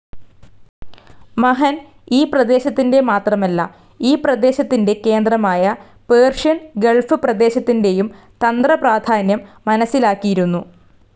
മഹൻ ഈ പ്രദേശത്തിന്റെ മാത്രമല്ല ഈ പ്രദേശത്തിന്റെ കേന്ദ്രമായ പേർഷ്യൻ ഗൾഫ്‌ പ്രദേശത്തിന്റെയും തന്ത്രപ്രാധാന്യം മനസ്സിലാക്കിയിരുന്നു.